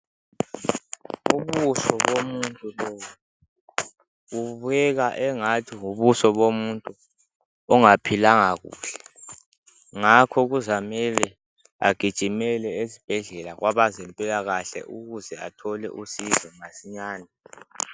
Ubuso bomuntu lobu bubukeka engathi bubuso bomuntu ongaphilanga kuhle. Ngakho kuzamele agijimele esibhedlela kwabezempilakahle ukuze athole usizo masinyane.